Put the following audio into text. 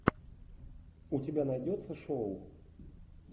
у тебя найдется шоу